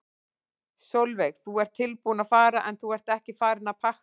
Sólveig: Þú ert tilbúinn að fara en þú ert ekki farinn að pakka?